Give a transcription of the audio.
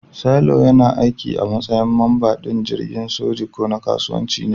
Sailor yana aiki a matsayin mamba din jirgin soji ko na kasuwanci ne.